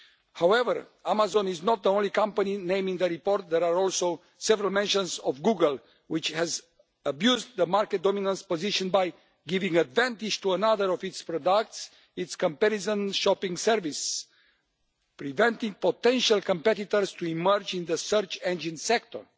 However, Amazon is not the only company named in the report there are also several mentions of Google, which has abused its market dominant position by giving an advantage to another of its products, its comparison shopping service, preventing potential competitors from emerging in the search engine sector.